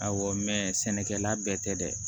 Awɔ sɛnɛkɛla bɛɛ tɛ dɛ